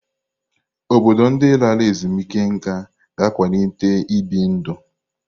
Obodo ndị lara ezumike nká ga ịkwalite ibi ndụ.